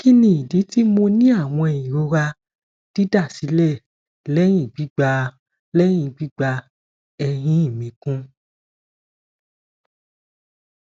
kini idi ti mo ni awọn irora didasilẹ lẹhin gbigba lẹhin gbigba ehin mi kun